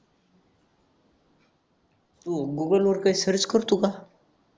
तू Google वर काय search करतो का